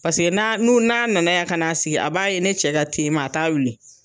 Paseke n'a n'u n'a na na ya ka na sigi a b'a ye ne cɛ ka te ma a t'a wuli.